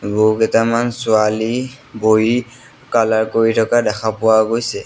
বহুকেইটামান ছোৱালী বহি কালাৰ কৰি থকা দেখা পোৱা গৈছে।